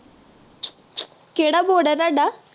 ਕਿਹੜਾ board ਆ ਤੁਹਾਡਾ